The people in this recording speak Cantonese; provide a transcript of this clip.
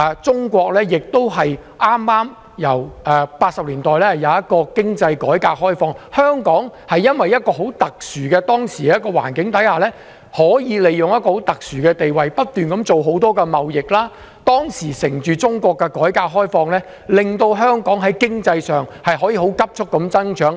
中國由1980年代開始進行經濟改革開放，在這個很特殊的環境下，香港利用其特殊的地位，把握中國改革開放的機遇，不斷進行多項貿易，令香港的經濟可以急速增長。